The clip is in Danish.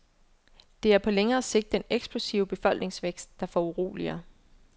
Det er på længere sigt den eksplosive befolkningsvækst, der foruroliger.